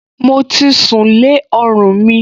Mo ti sùn lé ọrùn mi